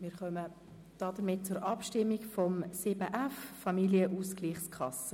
Damit kommen wir zur Abstimmung betreffend 7.f Familienausgleichskasse.